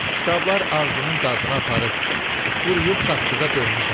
Kitablar ağzının dadına aparıb, quruyub saqqıza dönmüsən.